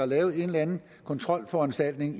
lave en eller anden kontrolforanstaltning